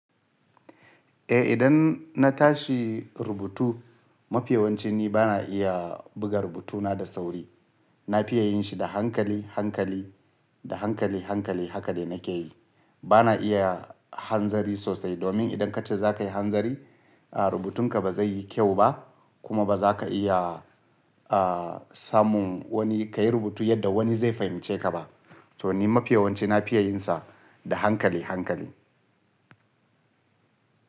Eh idan na tashi rubutu mafi yawanci ni bana iya buga rubutu na da sauri. Na fiye yin shi da hankali, hankali, da hankali, hankali haka de nake yi. Bana iya hanzari sosai domin idan kace za ka yi hanzari, rubutun ka ba zai yi kyau ba kuma ba za ka iya samun wani ka yi rubutu yadda wani zai fahimce ka ba. To ni mafiyawanci na fiya yin sa da hankali, hankali.